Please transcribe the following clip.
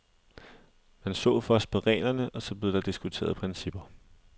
Man så først på reglerne, og så blev der diskuteret principper.